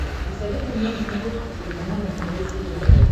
посоветуй мне на смотрешке телеканал нтв сериал